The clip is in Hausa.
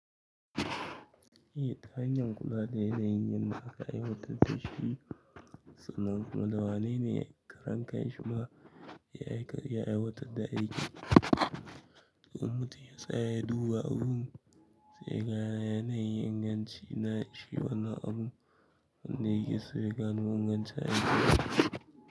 Ita, hanyar kula da yana yin yanda aka aiwatar da shi, sannan kuma dawanene karan kan shi ma, ya aiwatar da aiki. To mutum ya tsaya duba abun, sai yaga na yanayin inganci na shi wannan abun, wanne yake so yaga no inganci a gida.